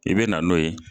I bɛ na n'o ye